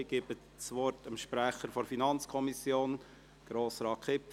Ich gebe das Wort dem Sprecher der FiKo, Grossrat Kipfer.